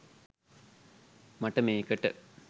මට මේකට